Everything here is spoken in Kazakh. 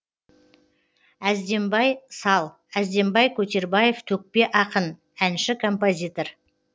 әздембай сал әздембай көтербаев төкпе ақын әнші композитор